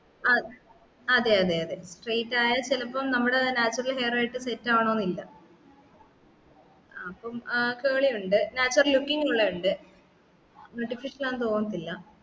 ആ അതെ അതെ അതെ straight ആയാൽ ചിലപ്പം നമ്മളെ natural hair ആയിട്ട് set ആവെണോന്നില്ല ആഹ് അപ്പം ഏർ curley ഉണ്ട് natural looking ഉള്ളതു ഉണ്ട് artificial ആണെന്ന് തോന്നതില്ല